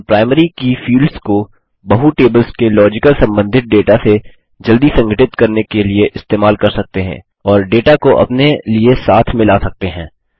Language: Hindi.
हम प्राइमरी की फील्ड्स को बहु टेबल्स के लॉजिकल सम्बन्धित डेटा से जल्दी संघटित करने के लिए इस्तेमाल कर सकते हैं और डेटा को अपने लिए साथ में ला सकते हैं